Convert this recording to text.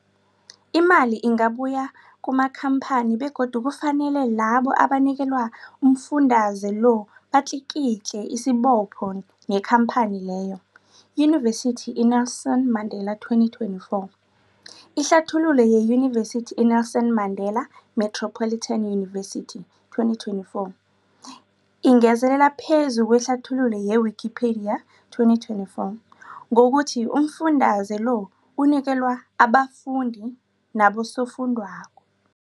Imali ingabuyi kumakhamphani begodu kufanele labo abanikelwa umfundaze lo batlikitliki isibopho neenkhamphani leyo, Yunivesity i-Nelson Mandela 2024. Ihlathululo yeYunivesithi i-Nelson Mandela Metropolitan University, 2024, ingezelele phezu kwehlathululo ye-Wikipedia, 2024, ngokuthi umfundaze lo unikelwa abafundi nabosofundwakgho.